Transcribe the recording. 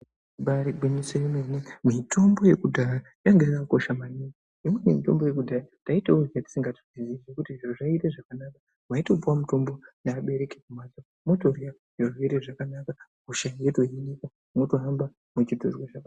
Ibari gwinyiso remene mitombo yekudhaya yanga yakakosha maningi ngekuti mitombo yekudhaya yanga isingaoneki tisingaizivi zviro zvoita zvakanaka motorwa zvirwere zvakanaka hosha dzotohinika wotonzwa zvakanaka.